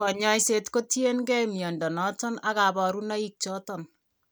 Kanyaiset ko tien gee mnyondo noton ag kabarunaik choton